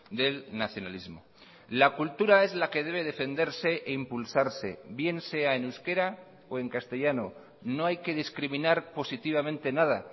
del nacionalismo la cultura es la que debe defenderse e impulsarse bien sea en euskera o en castellano no hay que discriminar positivamente nada